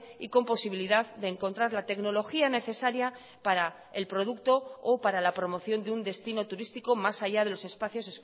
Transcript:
y con posibilidad de encontrar la tecnología necesaria para el producto o para la promoción de un destino turístico más allá de los espacios